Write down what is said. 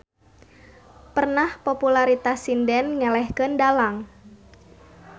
Pernah popularitas sinden ngelehkeun dalang.